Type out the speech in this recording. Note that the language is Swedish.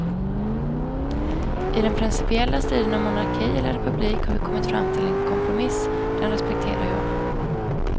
I den principiella striden om monarki eller republik har vi kommit fram till en kompromiss, den respekterar jag.